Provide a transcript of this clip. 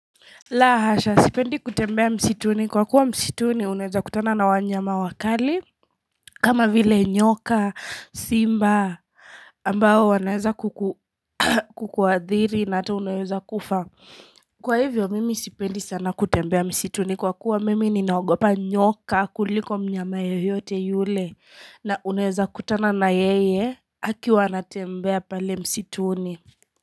La hasha, sipendi kutembea msituni. Kwa kuwa msituni, unaweza kutana na wanyama wakali, kama vile nyoka, simba, ambao wanaeza kukuadhiri na ata uneza kufa. Kwa hivyo, mimi sipendi sana kutembea msituni. Kwa kuwa mimi ninaogopa nyoka kuliko mnyama yeyote yule, na uneza kutana na yeye, akiwanatembea pale msituni.